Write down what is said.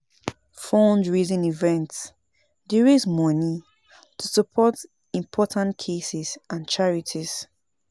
Fundraising events dey raise moni to support important causes and charities.